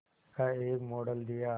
का एक मॉडल दिया